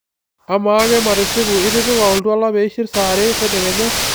amaa ake matisipu itipika oltuala peishir saa are tedekenya